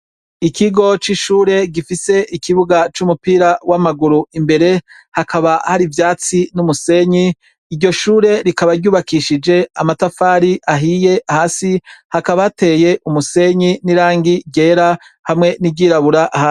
Ikigo c' ishure gifise ikibuga c' umupira w' amaguru imbere hakaba hari ivyatsi n' umusenyi iryo shure rikaba ryubakishije amatafari ahiye hasi hakaba hateye umusenyi n' irangi ryera hamwe n' iryirabura.